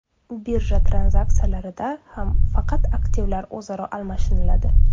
Birja tranzaksiyalarida ham faqat aktivlar o‘zaro almashiniladi.